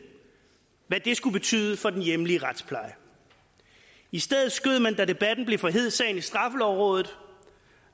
skulle betyde for den hjemlige retspleje i stedet for skød man da debatten blev for hed sagen over i straffelovrådet